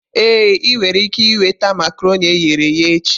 Ee, ị nwere ike nweta makaronii eghere eghe echi.